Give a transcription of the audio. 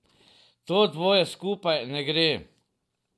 To dvoje skupaj ne gre.